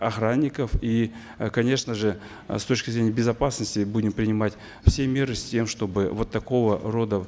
охранников и э конечно же с точки зрения безопасности будем принимать все меры с тем чтобы вот такого рода